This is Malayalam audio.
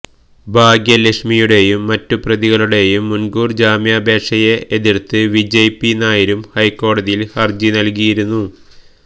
ഭാഗ്യലക്ഷ്മിയുടെയും മറ്റുപ്രതികളുടെയും മുന്കൂര് ജാമ്യാപേക്ഷയെ എതിര്ത്ത് വിജയ് പി നായരും ഹൈക്കോടതിയില് ഹര്ജി നല്കിയിരുന്നു